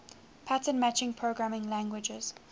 pattern matching programming languages